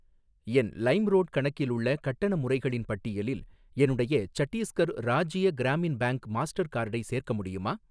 என் LimeRoad கணக்கில் உள்ள கட்டண முறைகளின் பட்டியலில் என்னுடைய சட்டீஸ்கர் ராஜ்ய கிராமின் பேங்க் மாஸ்டர் கார்டை சேர்க்க முடியுமா?